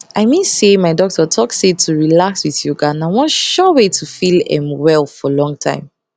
i mean say my doctor talk say to relax with yoga na one sure way to feel erm well for long time